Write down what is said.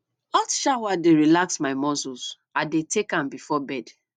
hot shower dey relax my muscles i dey take am before bed